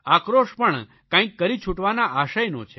આક્રોશ પણ કંઇક કરી છૂટવાના આશયનો છે